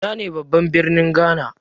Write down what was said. Ina ne babban birnin Ghana?